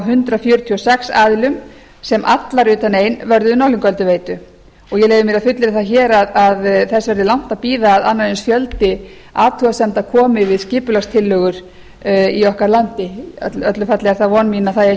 hundrað fjörutíu og sex aðilum sem allar utan ein vörðuðu norðlingaölduveitu og ég leyfi mér að fullyrða það hér að þess verði langt að bíða að annar eins fjöldi athugasemda komi við skipulagstillögur í okkar landi í öllu falli er það von mín að það eigi